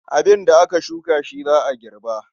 Abin da aka shuka shi za a girba.